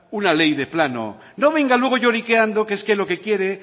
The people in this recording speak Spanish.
una ley de plano no venga luego lloriqueando que es que lo que quiere